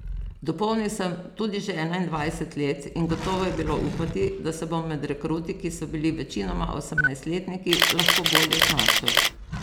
Dopolnil sem tudi že enaindvajset let in gotovo je bilo upati, da se bom med rekruti, ki so bili večinoma osemnajstletniki, lahko bolje znašel.